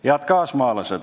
Head kaasmaalased!